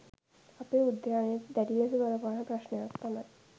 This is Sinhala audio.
අපේ උද්‍යානයට දැඩි ලෙස බලපාන ප්‍රශ්නයක් තමයි